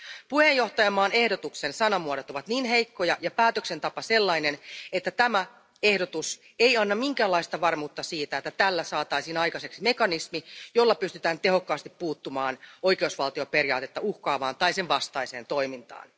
Puheenjohtajamaan ehdotuksen sanamuodot ovat niin heikkoja ja päätöksentapa sellainen, että tämä ehdotus ei anna minkäänlaista varmuutta siitä, että tällä saataisiin aikaiseksi mekanismi, jolla pystytään tehokkaasti puuttumaan oikeusvaltioperiaatetta uhkaavaan tai sen vastaiseen toimintaan.